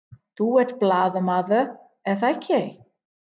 Þú ert blaðamaður, er það ekki?